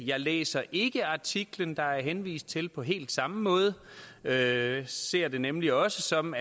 jeg læser ikke artiklen der er henvist til på helt samme måde jeg ser nemlig også sådan